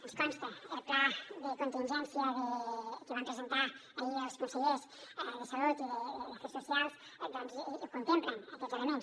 ens consta el pla de contingència que van presentar ahir els consellers de salut i d’afers socials contemplen aquests elements